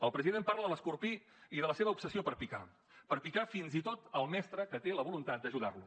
el president parla de l’escorpí i de la seva obsessió per picar per picar fins i tot el mestre que té la voluntat d’ajudar lo